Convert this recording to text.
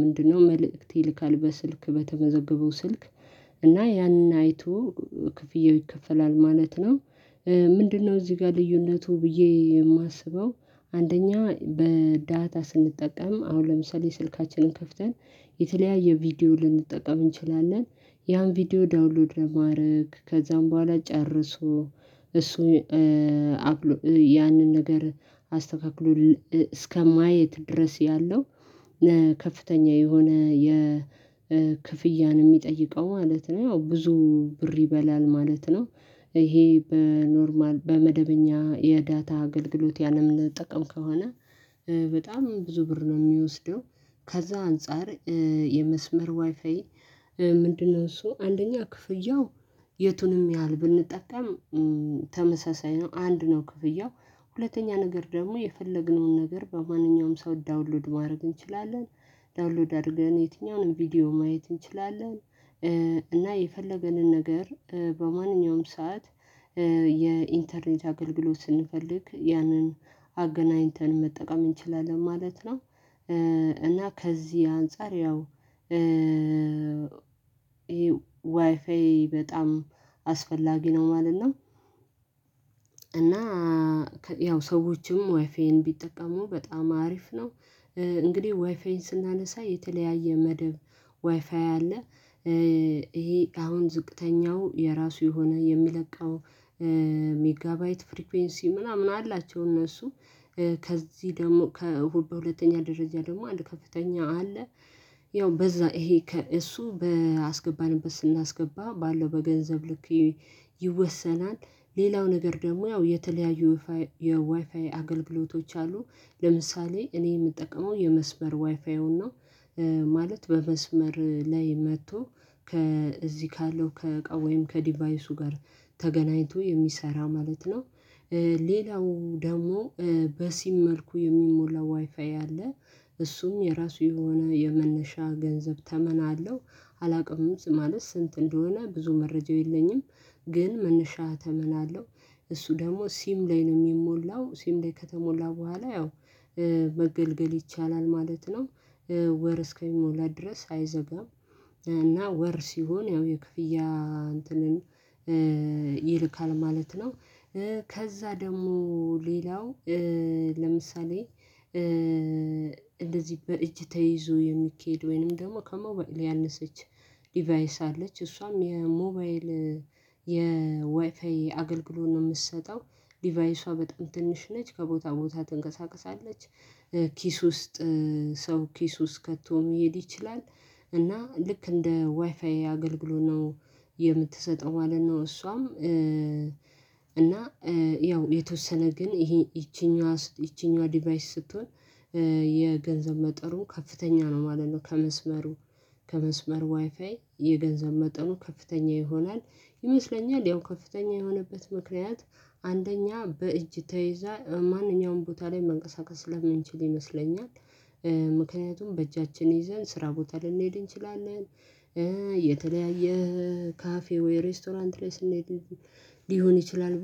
ምንድነው? መልእክት ይልካል በስልክ በተመዘገበው ስልክ እና ያንን አይቶ ክፍያው ይከፈላል ማለት ነው። ምንድነው? እዚህ ጋር ልዩነቱ ብዬ የማስበው አንደኛ በዳታ ስንጠቀም አሁን ለምሳሌ ስልካችንን ከፍተን የተለያየ ቪዲዮ ልንጠቀም እንችላለን። ያን ቪዲዮ ዳውንሎድ ለማድረግ ከዛም በኋላ ጨርሶ እሱን ያንን ነገር አስተካክሎ እስከማየት ድረስ ያለው ከፍተኛ የሆነ የክፍያን የሚጠይቀው ማለት ነው ያው ብዙ ብር ይበላል ማለት ነው። ይሄ በኖርማል በመደበኛ የዳታ አገልግሎት ያንን ምንጠቀም ከሆነ በጣም ብዙ ብር ነው የሚወስደው። ከዛ አንፃር የመስመር ዋይፋይ ምንድነው እሱ አንደኛ ክፍያው የቱንም ያህል ብንጠቀም ተመሳሳይ ነው። አንድ ነው ክፍያው ሁለተኛ ነገር ደግሞ የፈለግነውን ነገር በማንኛውም ሰው ዳውንሎድ ማድረግ እንችላለን። ዳውንሎድ አድርገን የትኛውንም ቪዲዮ ማየት እንችላለን። እና የፈለገንን ነገር በማንኛውም ሰዓት የኢንተርኔት አገልግሎት ስንፈልግ ያንን አገናኝተን መጠቀም እንችላለን ማለት ነው። እና ከዚህ አንፃር ያው ይሄ ዋይፋይ በጣም አስፈላጊ ነው ማለት ነው። እና ያው ሰዎችም ዋይፌን ቢጠቀሙ በጣም አሪፍ ነው። እንግዲህ ዋይፋዬን ስናነሳ የተለያየ መደብ ዋይፋይ አለ። ይሄ አሁን ዝቅተኛው የራሱ የሆነ የሚለቀው ሜጋባይት ፍሪኩዌንሲ ምናምን አላቸው እነሱ ከዚህ ደግሞ ከእሁድ በሁለተኛ ደረጃ ደግሞ አለ ከፍተኛ ያው በዛ ይሄ ከእሱ ባስገባንበት ስናስገባ ባለው በገንዘብ ልክ ይወሰናል። ሌላው ነገር ደግሞ ያው የተለያዩ የዋይፋይ አገልግሎቶች አሉ። ለምሳሌ እኔ የምጠቅመው የመስበር ዋይፋው ነው። ማለት በመስመር ላይ መጥቶ ከዚህ ካለው ከእቃው ወይም ከዲቫይሱ ጋር ተገናኝቶ የሚሰራ ማለት ነው። ሌላው ደግሞ በሲም መልኩ የሚሞላው ዋይፋይ አለ። እሱም የራሱ የሆነ የመነሻ ገንዘብ ተመን አለው። አላውቅም ማለት ስንት እንደሆነ ብዙ መረጃው የለኝም። ግን መነሻ ተመናለሁ እሱ ደግሞ ሲም ላይ ነው የሚሞላው ሲም ላይ ከተሞላ በኋላ ያው መገልገል ይቻላል ማለት ነው። ወር እስከሚሞላ ድረስ አይዘጋም። እና ወር ሲሆን ያው የክፍያ እንትን ይልካል ማለት ነው። ከዛ ደግሞ ሌላው ለምሳሌ እንደዚህ በእጅ ተይዞ የሚኬድ ወይንም ደግሞ ከሞባይ ሊያነሰች ዲቫይስ አለች። እሷም የሞባይል የዋይፋይ አገልግሎት ነው የምትሰጠው ዲቫይሷ በጣም ትንሽ ነች ከቦታ ቦታ ትንቀሳቀሳለች። ኪስ ውስጥ ሰው ኪስ ውስጥ ከቶም መሄድ ይችላል። እና ልክ እንደ ዋይፋይ አገልግሎናው የምትሰጠው ማለን ነው። እሷም እና ያው የተወሰነ ግን ይሄ ይቺኛዋ ይቺኛዋ ዲቫይስ ስትሆን የገንዘብ መጠሩን ከፍተኛ ነው ማለት ነው። ከመስመሩ ከመስመር ዋይፋይ የገንዘብ መጠኑ ከፍተኛ ይሆናል። ይመስለኛል ያው ከፍተኛ የሆነበት ምክንያት አንደኛ በእጅ ተይዛ ማንኛውንም ቦታ ላይ መንቀሳቀስ ስለምንችል ይመስለኛል። ምክንያቱም በእጃችን ይዘን ስራ ቦታ ልንሄድ እንችላለን። የተለያየ ካፌ ወይ ሬስቶራንት ላይ ስንል ሊሆን ይችላል ብቻ።